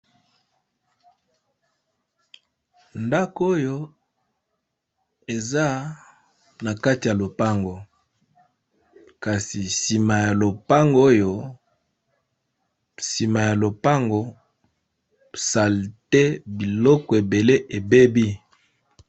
Ndako oyo eza na kati ya lopango kasi sima ya lopango salete biloko ebele ebebi.